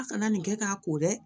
A kana nin kɛ k'a ko dɛ